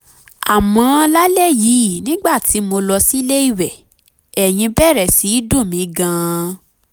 àmọ́ lálẹ́ yìí nígbà tí mo lọ sílé ìwẹ̀ ẹ̀yìn bẹ̀rẹ̀ sí í dùn mí gan-an